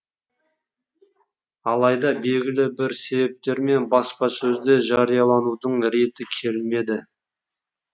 алайда белгілі бір себептермен баспасөзде жариялаудың реті келмеді